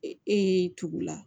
E y'i tugu la